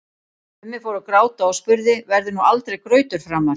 Mummi fór að gráta og spurði: Verður nú aldrei grautur framar?